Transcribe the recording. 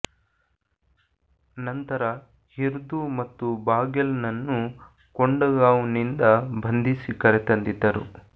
ನಂತರ ಹಿರ್ದು ಮತ್ತು ಬಾಗೆಲ್ನನ್ನು ಕೊಂಡಗಾಂವ್ನಿಂದ ಬಂಧಿಸಿ ಕರೆ ತಂದಿದ್ದರು